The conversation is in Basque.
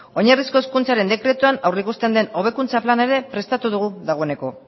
oinarrizko hezkuntzaren dekretuan aurreikusten den hobekuntza plana ere prestatu dugu dagoeneko